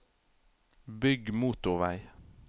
bygg motorveg